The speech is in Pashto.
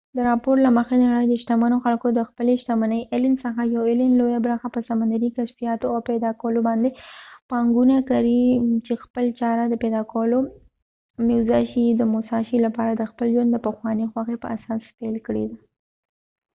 د راپور له مخی د نړی د شتمنو خلکو څخه یو ایلن allen د خپلی شتمنۍ لويه برخه په سمندرې کشفیاتو او پیدا کولو باندي پانګونه کړي چې خپل چاره یې د موساشي musashi د پیدا کولو لپاره د خپل ژوند د پخوانی خوښی په اساس پیل کړي ده